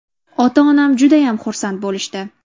Ota-onam judayam xursand bo‘lishdi.